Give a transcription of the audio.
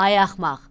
Ay axmaq.